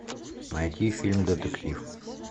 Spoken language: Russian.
найти фильм детектив